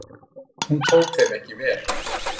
Hún tók þeim ekki vel.